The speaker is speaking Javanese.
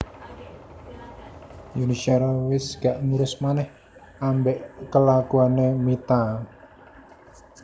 Yuni Shara wes gak ngurus maneh ambek kelakuane Mita